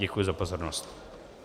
Děkuji za pozornost.